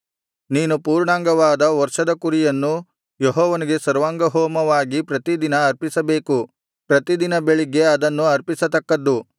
ನೀನು ಪೂರ್ಣಾಂಗವಾದ ವರ್ಷದ ಕುರಿಯನ್ನು ಯೆಹೋವನಿಗೆ ಸರ್ವಾಂಗಹೋಮವಾಗಿ ಪ್ರತಿ ದಿನ ಅರ್ಪಿಸಬೇಕು ಪ್ರತಿ ದಿನ ಬೆಳಿಗ್ಗೆ ಅದನ್ನು ಅರ್ಪಿಸತಕ್ಕದ್ದು